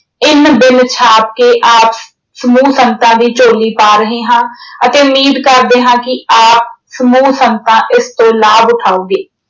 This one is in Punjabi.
ਇੰਨ ਬਿੰਨ ਛਾਪ ਕੇ ਆਪ ਸਮੂਹ ਸੰਗਤਾਂ ਦੀ ਝੋਲੀ ਪਾ ਰਹੇ ਹਾਂ ਅਤੇ ਉਮੀਦ ਕਰਦੇ ਹਾਂ ਕਿ ਆਪ ਸਮੂਹ ਸੰਗਤਾਂ ਇਸ ਤੋਂ ਲਾਭ ਉਠਾਓਗੇ।